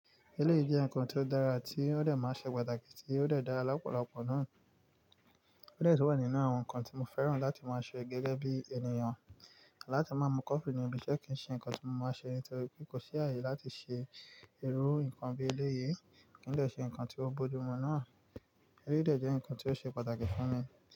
Eleyii je nǹkan tí ó dára tí ó dẹ̀ máa ń ṣe pàtàkì tí ó dẹ̀ dára lọ́pọ̀lọpọ̀ náà. Ó dẹ̀ tun wà nínú àwọn nǹkan tí mo fẹ́ràn láti máa ṣe gẹ́gẹ́ bí ènìyàn. Láti máa mu coffe ni ibi ṣẹ́ kí ń ṣe nǹkan tí mo máa ṣe nítorí pé kò sí ààyè láti ṣe irú nǹkan bí eléyìí. Kí ń dẹ̀ ṣe nǹkan tí ó bojú mu náà. Eléyìí dẹ̀ jẹ́ nǹkan tí ó ṣe pàtàkì fún mi.